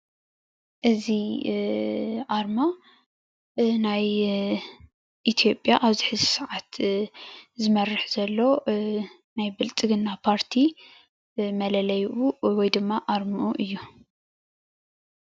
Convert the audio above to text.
እዚ ኣርማ ናይ ኢትዮጵያ ኣብዚ ሕዚ ሰዓት ዝመርሕ ዘሎ ናይ ብልፅግና ፓርቲ መለለይኡ ወይ ድማ ኣርምኡ እዩ፡፡